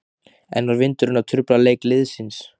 En var vindurinn að trufla leik liðsins?